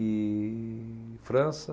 E... França.